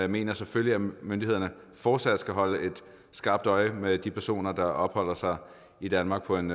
mener selvfølgelig at myndighederne fortsat skal holde skarpt øje med de personer der opholder sig i danmark på en